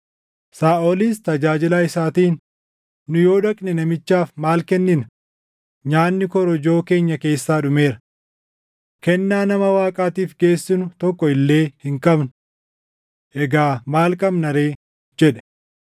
Saaʼolis tajaajilaa isaatiin, “Nu yoo dhaqne namichaaf maal kennina? Nyaanni korojoo keenya keessaa dhumeera. Kennaa nama Waaqaatiif geessinu tokko illee hin qabnu. Egaa maal qabna ree?” jedhe.